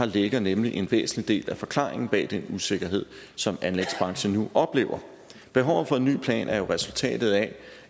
ligger nemlig en væsentlig del af forklaringen bag den usikkerhed som anlægsbranchen nu oplever behovet for en ny plan er jo resultatet af